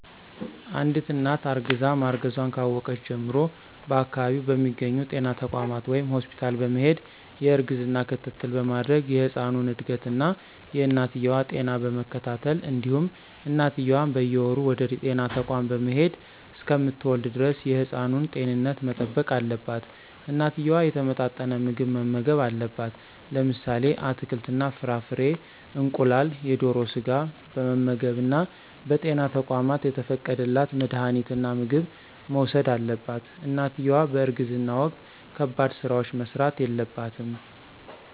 አንድት እናት እርግዛ ማርገዟን ካወቀች ጀምሮ በአከባቢው በሚገኙ ጤና ተቋማት ወይም ሆስፒታል በመሄድ የእርግዝና ክትትል በማድረግ የህፃኑን እድገት እና የእናትየዋ ጤና በመከታተል እንዲሁም እናትየዋም በየወሩ ወደጤና ተቋም በመሄድ እሰከምትወልድ ደረስ የህፃኑን ጤንነት መጠበቅ አለባት። እናትየዋ የተመጣጠነ ምግብ መመገብ አለባት። ለምሳሌ አትክልት እና ፍራፍሬ፣ እንቁላል፣ የደሮ ስጋ በመመገብ እና በጤና ተቋማት የተፈቀደላት መድሀኒትና ምግብ መውሰድ አለባት። እናትየዋ በእርግዝና ወቅት ከባድ ስራዎች መስራት የለባትም።